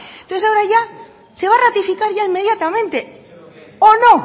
entonces ya ahora se va a ratificar ya inmediatamente o no